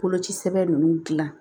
Koloci sɛbɛn ninnu dilan